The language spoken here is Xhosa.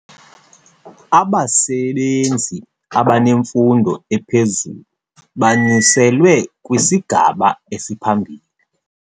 Abasebenzi abanemfundo ephezulu banyuselwe kwisigaba esiphambili.